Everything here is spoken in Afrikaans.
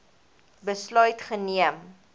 besluit geneem